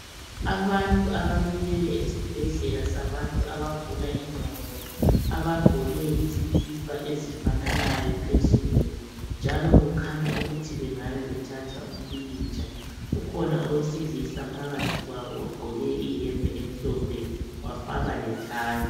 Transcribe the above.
Abantu abamileyo esibhedlela sabantu abagula ingqondo, abagqoke izikipa ezifananayo. phezulu njalo kukhanya ukuthi bengabe bethatha umpikitsha. Ukhona owesilisa phakathi kwabo ogqoke iyembe emhlophe wafaka lethayi.